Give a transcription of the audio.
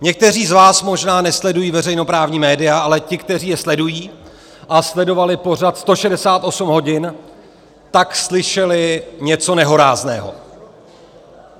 Někteří z vás možná nesledují veřejnoprávní média, ale ti, kteří je sledují a sledovali pořad 168 hodin, tak slyšeli něco nehorázného.